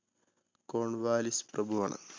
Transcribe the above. Cornwallis പ്രഭുവാണ്.